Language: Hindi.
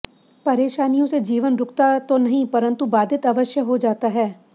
परेशानियों से जीवन रुकता तो नहीं परन्तु बाधित अवश्य हो जाता है